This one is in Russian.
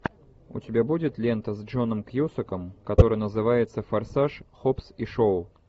у тебя будет лента с джоном кьюсаком которая называется форсаж хоббс и шоу